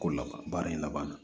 Ko laban baara in laban na